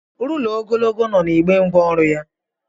Rula ogologo no na igbé ngwa ọrụ ya.